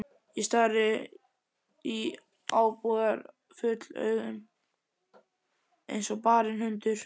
Ég stari í ábúðarfull augun eins og barinn hundur.